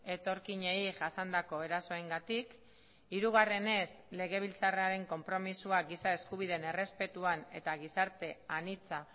etorkinei jasandako erasoengatik hirugarrenez legebiltzarraren konpromisoa giza eskubideen errespetuan eta gizarte anitza